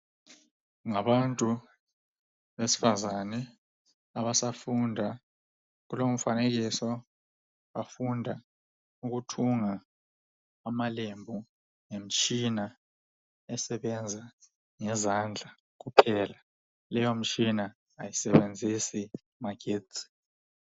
Ngabantu besifazane abasafunda. kulowu mfanekisso bafunda ukuthunga ngemtshina esebenza ngezandla kuphela, leyo mtshina ayisebenzisi amagetsi.